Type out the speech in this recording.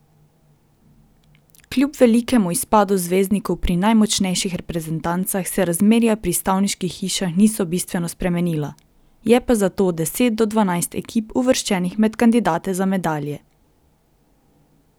Kljub velikemu izpadu zvezdnikov pri najmočnejših reprezentancah se razmerja pri stavniških hišah niso bistveno spremenila, je pa zato deset do dvanajst ekip uvrščenih med kandidate za medalje.